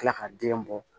Kila ka den bɔ